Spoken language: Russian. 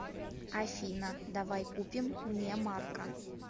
афина давай купим мне марка